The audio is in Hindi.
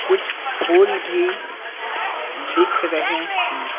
कुछ फूल भी दिख रहे हैं।